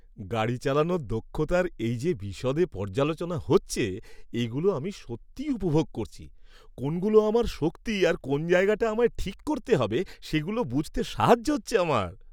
গাড়ি চালানোর দক্ষতার এই যে বিশদে পর্যালোচনা হচ্ছে এগুলো আমি সত্যি উপভোগ করছি; কোনগুলো আমার শক্তি আর কোন জায়গাটা আমায় ঠিক করতে হবে সেগুলো বুঝতে সাহায্য হচ্ছে আমার।